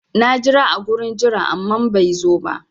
Na jira a gurin jira amma bai zo ba.